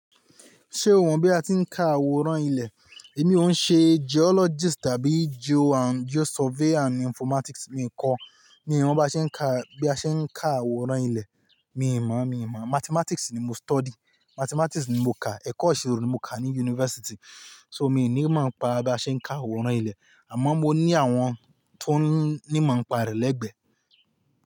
Ṣé òhun bí a ti ń ka àwòrán ilẹ̀, èmi òun ṣe geologist tàbí geo and geo survey and informatics mi kọ́. Mi ò mọ bí a ṣe ń ka, bí a ṣe ń ka àwòrán ilẹ̀, mi ò mọ̀, mi ò mọ̀. Mathematics ni mo study, mathematics ni mo kà, ẹ̀kọ́ ìṣirò ni mo kà ní university. So mi ò ní mọ̀ ọ́n pa bí a ṣe ń ka àwòrán ilẹ̀, àmọ́ mo ní àwọn tó ní mọ̀ ọ́n pa rè lẹ́gbẹ̀ẹ́.